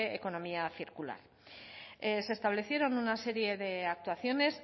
economía circular se establecieron una serie de actuaciones